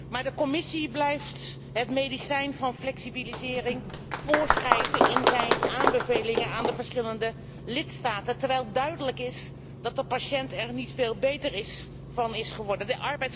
Maar de Commissie blijft het medicijn van flexibilisering voorschrijven in haar aanbevelingen aan de verschillende lidstaten, terwijl duidelijk is dat de patiënt er niet veel beter van is geworden.